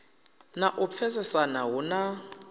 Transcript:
na u pfesesana hu na